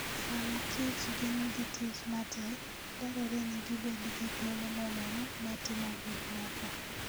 Sam kich gin gi tich matek, dwarore ni gibed gi thuolo moromo mar timo gik moko.